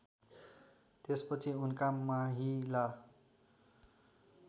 त्यसपछि उनका माहिला